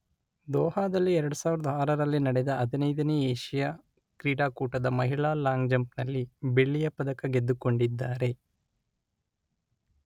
ದೋಹಾದಲ್ಲಿ ಎರಡು ಸಾವಿರದ ಆರರಲ್ಲಿ ನಡೆದ ಹದಿನೈದನೆ ಏಷ್ಯಾ ಕ್ರೀಡಾಕೂಟದ ಮಹಿಳಾ ಲಾಂಗ್ ಜಂಪ್ ನಲ್ಲಿ ಬೆಳ್ಳಿಯ ಪದಕ ಗೆದ್ದುಕೊಂಡಿದ್ದಾರೆ.